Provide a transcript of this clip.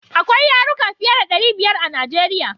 Akwai yaruka fiye da ɗari biyar a Najeriya.